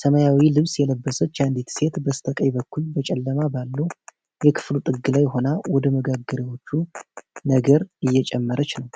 ሰማያዊ ልብስ የለበሰች አንዲት ሴት በስተቀኝ በኩል በጨለማ ባለው የክፍሉ ጥግ ላይ ሆና ወደ መጋገርያዎቹ ነገር እየጨመረች ነው።